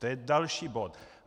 To je další bod.